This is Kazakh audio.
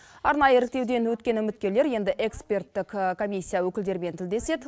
арнайы іріктеуден өткен үміткерлер енді эксперттік комиссия өкілдерімен тілдеседі